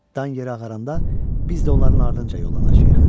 Dan yeri ağaranda biz də onların ardınca yollanacağıq.